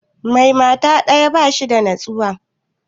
Mai mata ɗaya ba shi da nutsuwa